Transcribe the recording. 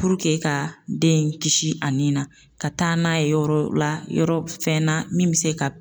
ka den in kisi a nin na, ka taa n'a ye yɔrɔ la yɔrɔ fɛn na min be se ka